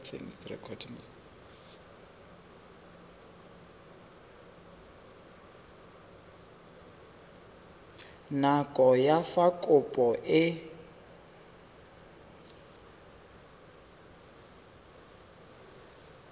nako ya fa kopo e